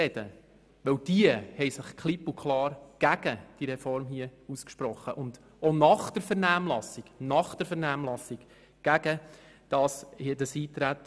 Diese haben sich nämlich klipp und klar gegen diese Reform ausgesprochen und nach der Vernehmlassung gegen das Eintreten.